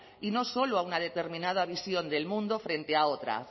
y no solo a una determinada visión del mundo frente a otra